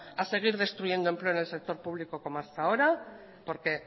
a seguir destruyendo empleo en el sector público como hasta ahora porque